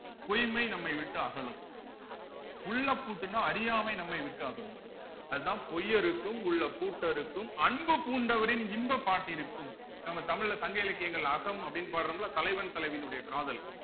பொய்மை நம்மை விட்டு அகலும் உள்ள பூட்டுன்னா அறியாமை நம்மை விட்டு அகலும் அதுதான் பொய்யருக்கும் உள்ள பூட்டருக்கும் அன்பு பூண்டவரின் இன்பப் பாட்டிற்கும் நம்ம தமிழ்ல சங்க இலக்கியங்கள் அகம் அப்படீன்னு பாடுறோம்ல தலைவன் தலைவியினுடைய காதல்